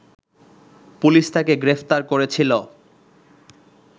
police তাকে গ্রেপ্তার করেছিল